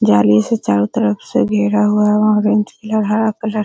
जाली से चारों तरफ से घेरा हुआ ऑरेंज कलर हरा कलर --